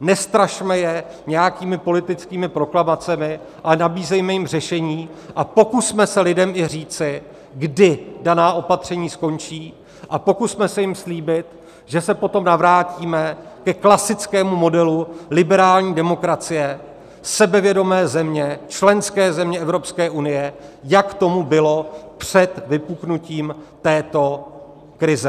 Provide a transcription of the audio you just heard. nestrašme je nějakými politickými proklamacemi, ale nabízejme jim řešení a pokusme se lidem i říci, kdy daná opatření skončí, a pokusme se jim slíbit, že se potom navrátíme ke klasickému modelu liberální demokracie sebevědomé země, členské země Evropské unie, jak tomu bylo před vypuknutím této krize.